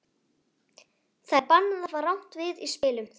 Það er bannað að hafa rangt við í spilum, Þorfinnur.